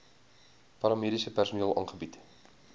paramediese personeel aangebied